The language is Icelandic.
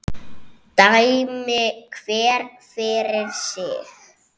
Dæmi hver fyrir sig!